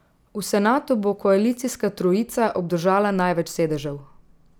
V senatu bo koalicijska trojica obdržala največ sedežev.